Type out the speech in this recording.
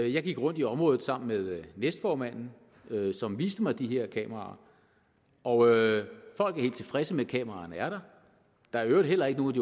jeg gik rundt i området sammen med næstformanden som viste mig de her kameraer og folk er helt tilfredse med at kameraerne er der der er i øvrigt heller ikke nogen